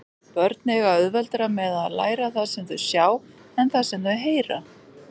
Börn eiga auðveldara með að læra það sem þau sjá en það sem þau heyra.